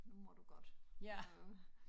Nu må du godt øh